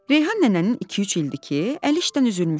Reyhan nənənin iki-üç ildir ki, əli işdən üzülmüşdü.